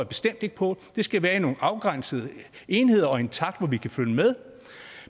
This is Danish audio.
bestemt ikke på det skal være nogle afgrænsede enheder og i en takt så vi kan følge med